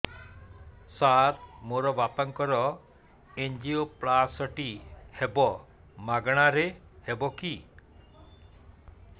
ସାର ମୋର ବାପାଙ୍କର ଏନଜିଓପ୍ଳାସଟି ହେବ ମାଗଣା ରେ ହେବ କି